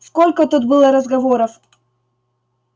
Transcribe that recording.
сколько тут было разговоров